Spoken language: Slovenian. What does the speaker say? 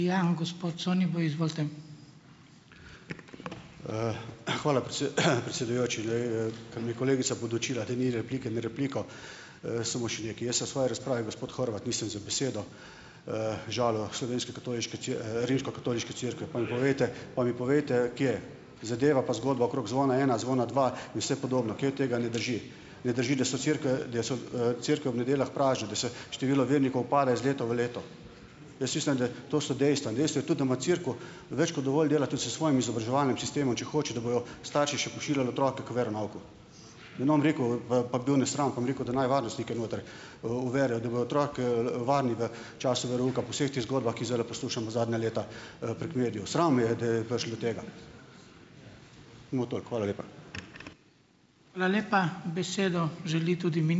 predsedujoči. Ker me je kolegica podučila, da ni replike na repliko, samo še nekaj. Jaz v svoji razpravi, gospod Horvat, nisem z besedo, žalil slovenske katoliške Rimskokatoliške cerkve. Pa mi povejte, pa mi povejte, kje. Zadeva pa zgodba okrog Zvona ena in Zvona dva vse podobna, kaj od tega ne drži. Ne drži, da so cerkve, da so, cerkve ob nedeljah prazne, da se število vernikov pada iz leta v leto? Jaz mislim, da to so dejstva. In dejstvo je tudi, da ima cerkev več kot dovolj dela tudi s svojim izobraževalnim sistemom, če hoče, da bojo starši še pošiljali otroke k veronauku. Da ne bom rekel, pa bil nesramen. Pa bom rekel, da naj varnostnike noter, uvedejo, da bo otrok, varen, da času verouka, po vseh teh zgodbah, ki jih zdajle poslušamo zadnja leta, prek medijev. Sram me je, da je prišlo do tega. Samo toliko. Hvala lepa.